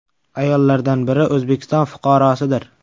Ayollardan biri O‘zbekiston fuqarosidir.